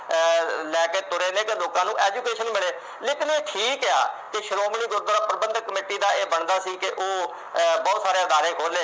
ਆਹ ਲੈ ਕੇ ਤੁਰੇ ਨੇ ਜੇ ਲੋਕਾਂ ਨੂੰ education ਮਿਲੇ ਲੇਕਿਨ ਠੀਕ ਆ ਕਿ ਸ਼੍ਰੋਮਣੀ ਗੁਰਦੁਆਰਾ ਪ੍ਰਬੰਧਕ ਕਮੇਟੀ ਦਾ ਇਹ ਬਣਦਾ ਸੀ ਕਿ ਉਹ ਅਹ ਬਹੁਤ ਸਾਰੇ ਅਦਾਰੇ ਖੋਲੇ